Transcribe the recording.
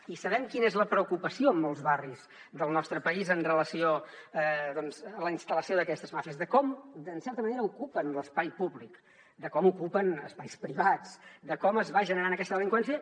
i sabem quina és la preocupació en molts barris del nostre país en relació amb la instal·lació d’aquestes màfies de com en certa manera ocupen l’espai públic de com ocupen espais privats de com es va generant aquesta delinqüència